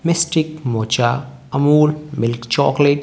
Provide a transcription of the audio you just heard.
mocha Amul milk chocolate --